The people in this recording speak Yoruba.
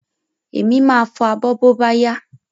Èmi máa fo abọ́ bóbáyá